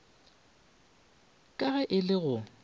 ka ge e le go